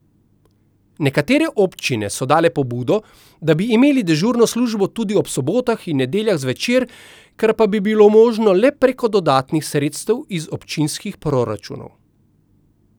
Nekatere občine so podale pobudo, da bi imeli dežurno službo tudi ob sobotah in nedeljah zvečer, kar pa bi bilo možno le preko dodatnih sredstev iz občinskih proračunov.